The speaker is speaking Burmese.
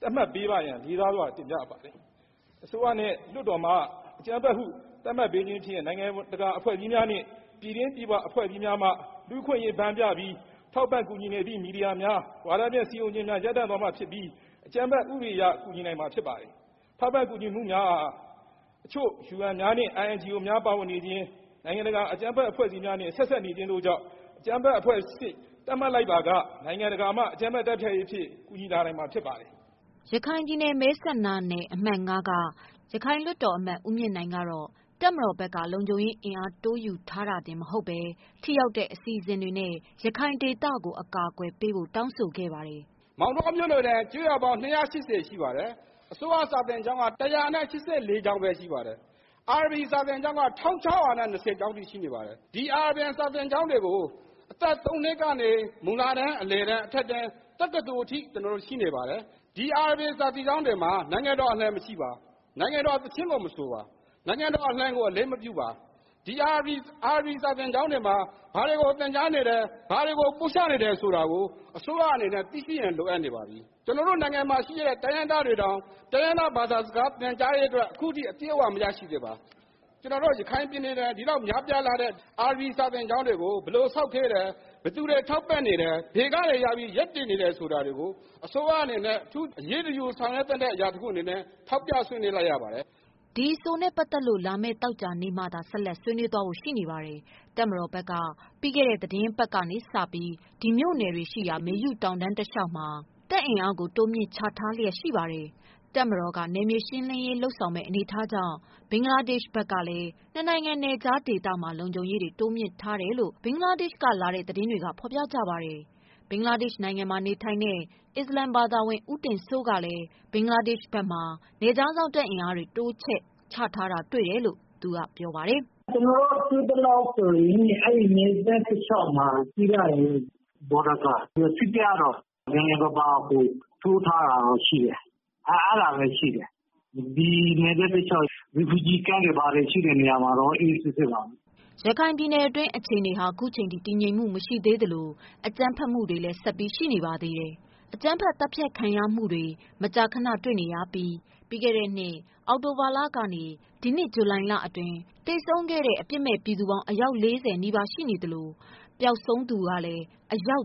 သတ်မှတ်ပေးပါရန် လေးစားစွာ တင်ပြအပ်ပါတယ်။ အစိုးရနဲ့ လွှတ်တော်မှ အကြမ်းဖက်ဟု သတ်မှတ်ပေးခြင်းဖြင့် နိုင်ငံတကာ အဖွဲ့အစည်းများနှင့် ပြည်တွင်းပြည်ပ အဖွဲ့အစည်းများမှ လူ့အခွင့်အရေး ဘန်းပြပြီး ထောက်ပံ့ကူညီနေသည့် မီဒီယာများ၊ ဝါဒဖြန့် စည်းရုံးခြင်းများ ရပ်တန့် သွားမှာ ဖြစ်ပြီး အကြမ်းဖက် ဥပဒေအရ ကူညီနိုင်မှာ ဖြစ်ပါတယ်။ ထောက်ပံ့ ကူညီမှုများအား အချို့ UN များနှင့် INGO များ ပါဝင်နေခြင်း၊ နိုင်ငံတကာ အကြမ်းဖက် အဖွဲ့အစည်းများနှင့် ဆက်စပ်နေခြင်းတို့ကြောင့်၊ အကြမ်းဖက် အဖွဲ့အဆင့် သတ်မှတ်လိုက်ပါက နိုင်ငံတကာမှ အကြမ်းဖက် တိုက်ခိုက်ရေးအဖြစ် ကူညီလာနိုင်မှာ ဖြစ်ပါတယ်။ ” ရခိုင်ပြည်နယ် အမှတ် ၅ မဲဆန္ဒနယ်က ရခိုင်လွှတ်တော်ကိုယ်စားလှယ် ဦးမြင့်နိုင်က တပ်မတော်ဘက်က လုံခြုံရေးအင်အား တိုးယူထားတာ တင်မဟုတ်ဘဲ ထိရောက်တဲ့ အစီအစဉ်တွေနဲ့ ရခိုင်ဒေသကို အကာကွယ်ပေးဖို့ တောင်းဆိုခဲ့ပါတယ်။ “ မောင်းတောမြို့နယ်တွင် ကျေးရွာပေါင်း ၂၈၀ ရှိပါတယ်။ အစိုးရ စာသင်ကျောင်းက ၁၈၄ ကျောင်းပဲရှိပါတယ်။ အာရဘီ စာသင်ကျောင်းက ၁၆၂၀ ရှိနေပါတယ်။ ဒီ အာရဗီ စာသင်ကျောင်းတွေကို အသက် ၃ နှစ်ကနေ၊ မူလတန်း၊ အလယ်တန်း၊ အထက်တန်း၊ တက္ကသိုလ် အထိ ကျနော်တို့ ရှိနေပါတယ်။ ဒီအာရဗီ စာသင်ကျောင်းတွေမှာ နိုင်ငံတော်အလံ မရှိပါ။ နိုင်ငံတော်သီချင်းကို မဆိုပါ။ နိုင်ငံတော် အလံကို အလေးမပြုပါ။ ဒီ အာရဗီ စာသင်ကျောင်းတွေမှာ ဘာတွေကို သင်ကြားနေတယ်။ ဘာတွေကို ပို့ချနေတယ် ဆိုတာကို အစိုးရအနေနဲ့ သိရှိရန် လိုအပ်နေပါသည်။ ကျွန်တော်တို့ မြန်မာနိုင်ငံမှာရှိတဲ့ တိုင်းရင်းသားတွေတောင် တိုင်းရင်းသား ဘာသာစကားနဲ့ သင်ကြားရေးအတွက် အခုအထိ အပြည့်အ၀ မရရှိသေးပါ။ ကျနော်တို့ ရခိုင်ပြည်နယ်တွင် ဒီလောက်များပြားလှတဲ့ အာရဗီ စာသင်ကျောင်းတွေကို ဘယ်လို ဆောက်ခဲ့တယ်၊ ဘယ်သူတွေ ထောက်ပံ့နေတယ်၊ ဘယ်ကနေရပြီး ရပ်တည်နေတယ် ဆိုတာတွေကို အစိုးရအနေနဲ့ အထူးအရေးတယူ ဆောင်ရွက်သင့်တဲ့ အရာတခု အနေနဲ့ ထောက်ပြ ဆွေးနွေးလိုက်ရပါတယ်။ ” ဒီအဆိုနဲ့ ပတ်သတ်လို့ လာမယ့် သောကြာနေ့မှသာ ဆက်လက် ဆွေးနွေးဖို့ရှိပါတယ်။ တပ်မတော်ဘက်က ပြီးခဲ့တဲ့ သတင်းပတ်က စပြီး ဒီမြို့နယ်တွေရှိရာ မေယုတောင်တန်း တလေ ျှာက် တပ်အင်အားကို တိုးမြှင့်ချထားခဲ့တာ ဖြစ်ပါတယ်။ တပ်မတော်က နယ်မြေရှင်းလင်းရေး လုပ်မယ့် အနေအထားကြောင့် ဘင်္ဂလားဒေရှ့်ဘက်ကလည်း နှစ်နိုင်ငံ နယ်ခြားဒေသမှာ လုံခြုံရေးတွေ တိုးမြင့်ထားတယ်လို့ ဘင်္ဂလားဒေရှ့်က လာတဲ့ သတင်းတွေက ဖော်ပြကြပါတယ်။ ဘင်္ဂလားဒေရှ် နိုင်ငံမှာ နေထိုင်တဲ့ အစ္စလာမ် ဘာသာဝင် ဦးတင်စိုးကလည်း ဘင်္ဂလားဒေရှ့်ဘက်မှာ နယ်ခြားစောင့် တပ်အင်အား တိုးချထားတာ တွေ့တယ်လို့ ပြောပါတယ်။ “ကျနော်တို့ တွေ့သလောက်ဆိုရင် အဲဒီ နယ်စပ်တလျှောက်မှာ ကြည့်လိုက်ရင် border guard က နည်းနည်းပါးပါး တိုးထား တာတွေကတော့ ရှိတယ်။ အား အဲဒါပဲရှိတယ်။ ဒီနယ်စပ်တလျှောက် refugee camp တွေ ဘာတွေရှိတဲ့ နေရာမှာတော့ အေးအေးဆေးဆေးပါ။” ရခိုင်ပြည်နယ်တွင်း အခြေအနေဟာ အခုအချိန်ထိ တည်ငြိမ်မှု မရှိသေးသလို အကြမ်းဖက်မှုတွေလည်း ဆက်ပြီး ရှိနေပါတယ်။ အကြမ်းဖက် သတ်ဖြတ်ခံရမှုတွေ မကြာခဏ တွေ့နေရပြီး ပြီးခဲ့တဲ့နှစ် အောက်တိုဘာလ ကနေ ဒီနှစ် ဇူလိုင်လအတွင်း သေဆုံးခဲ့တဲ့ အပြစ်မဲ့ ပြည်သူပေါင်း အယောက် ၄၀ နီးပါး ရှိနေသလို ပျောက်ဆုံးသူကလည်း အယောက်